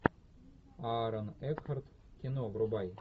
аарон экхарт кино врубай